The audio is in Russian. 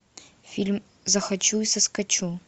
фильм захочу и соскочу